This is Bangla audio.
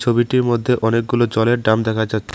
ছবিটির মধ্যে অনেকগুলো জলের ড্রাম দেখা যা--